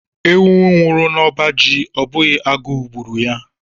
Ewu nwuru n'ọbá jị, ọ bụghị agụụ gbùrù ya.